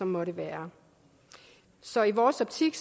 måtte være så i vores optik